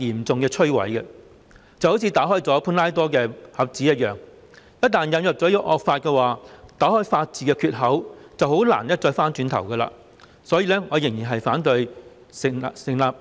這好像打開了潘朵拉的盒子，一旦引入惡法，打開了法治的缺口便難以回頭，故此我仍然反對《條例草案》。